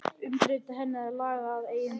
Umbreyta henni og laga að eigin vild?